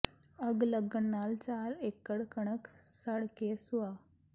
ਅੱਗ ਲੱਗਣ ਨਾਲ ਚਾਰ ਏਕੜ ਕਣਕ ਸੜ ਕੇ ਸੁਆਹ